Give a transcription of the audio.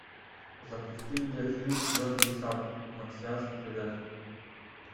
запусти видеофильм звездный десант марсианский предатель